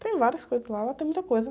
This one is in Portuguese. Tem várias coisas lá, lá tem muita coisa.